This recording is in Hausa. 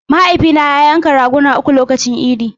Mahaifina ya yanka raguna uku lokacin idi.